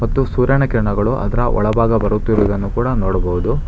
ಮತ್ತು ಸೂರ್ಯನ ಕಿರಣಗಳು ಅದರ ಒಳಭಾಗ ಬರುತ್ತಿರುವುದನ್ನು ಕೂಡ ನೋಡಬಹುದು.